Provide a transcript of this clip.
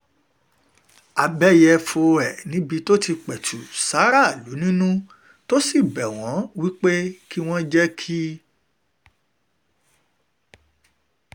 abẹ́yẹ̀fọ́ ẹ̀ níbi tó ti pẹ̀tù sí aráàlú nínú tó sì bẹ̀ wọ́n wí pé kí wọ́n jẹ́ kí